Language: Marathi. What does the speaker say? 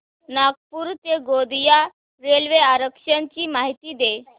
नागपूर ते गोंदिया रेल्वे आरक्षण ची माहिती दे